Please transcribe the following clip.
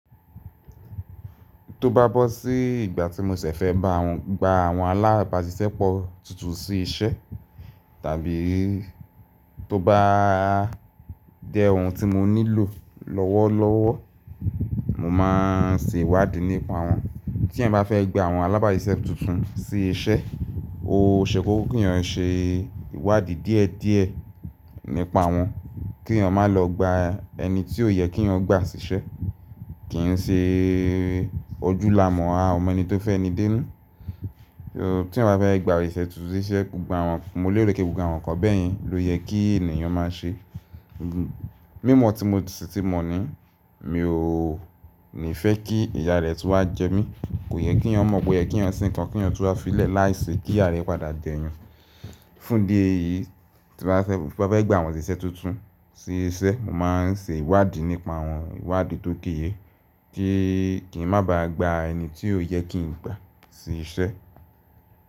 Tó bá bọ́ sí ìgbà tí mo ṣẹ̀ fẹ́ bawon gba àwọn alábàáṣiṣẹ́ pọ̀ tuntun sí iṣẹ́ tàbí tó bá jẹ ohun tí mo nílò lọ́wọ́lọ́wọ́, mo máa ń ṣe ìwádìí nípa wọ́n. Tí ẹeyan bá fẹ́ gba àwọn alábáṣiṣẹ́ tuntun sí iṣẹ́, ó ṣe kókó kí yan ṣe ìwádìí díẹ̀díẹ̀ nípa wọ́n, kí ẹeyan má lọ gba ẹni tí ò yẹ kí ẹ yan gba sí iṣẹ́. Kì í ṣe ojú la mọ̀ a ọ mọ ẹni tó fẹ́ni dé nu. Tí ẹeyan bá fẹ́ gba òṣìṣẹ́ tuntun sí iṣẹ́, mo léèro pé gbogbo àwọn ǹkan bẹ́ẹ̀ yẹn ló yẹ kí ènìyàn má ṣe. Mí mọ́ tí mo sì ti mọ̀ ní, mi ò ní fẹ́ kí ìyá rẹ tun wá jẹ mí. Kò yẹ kí ẹeyan mọ̀ po yẹ kí ẹeyan ṣe nǹkan kí ẹeyan tun wá filẹ̀ láìṣe kí ìyá rẹ padà je'eyan. Fún idi èyí, tí bá fẹ́ gba àwọn òṣìṣẹ́ tuntun sí iṣẹ́, mo máa ń ṣe ìwádìí nípa wọ́n, ìwádìí tó géye kí n má ba gba ẹni tí ò yẹ kí n gbà sí iṣẹ́.